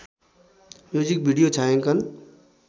music video छायाङ्कन